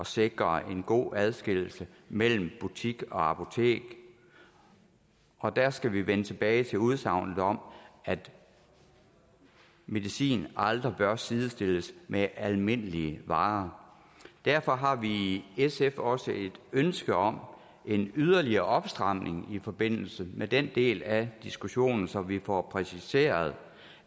sikre en god adskillelse mellem butik og apotek og der skal vi vende tilbage til udsagnet om at medicin aldrig bør sidestilles med almindelige varer derfor har vi i sf også et ønske om en yderligere opstramning i forbindelse med den del af diskussionen så vi får præciseret